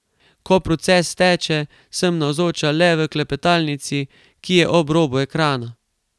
Ko proces steče, sem navzoča le v klepetalnici, ki je ob robu ekrana.